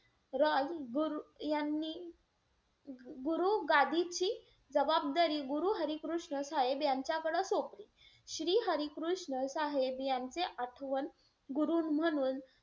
रॉय गुरु यांनी गुरु गादीची जबाबदारी गुरु हरी कृष्ण साहेब यांच्याकडे सोपवली. श्री हरी कृष्ण साहेब यांचे आठवण गुरु म्हणून,